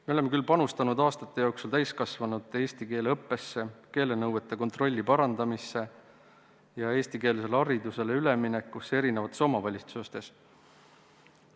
Me oleme küll aastate jooksul panustanud täiskasvanute eesti keele õppesse, keelenõuete kontrolli parandamisse ja eestikeelsele haridusele üleminekusse eri omavalitsustes.